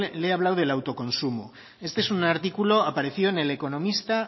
le he hablado del autoconsumo este es un artículo que apareció en el economista